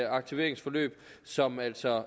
aktiveringsforløb som altså